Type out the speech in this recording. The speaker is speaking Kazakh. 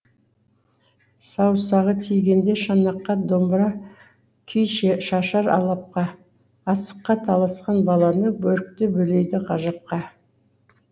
саусағы тигенде шанаққа домбыра күй шашар алапқа асыққа таласқан баланы бөрікті бөлейді ғажапқа